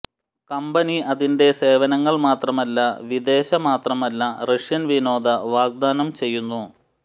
company അതിന്റെ സേവനങ്ങൾ മാത്രമല്ല വിദേശ മാത്രമല്ല റഷ്യൻ വിനോദ വാഗ്ദാനം ചെയ്യുന്നു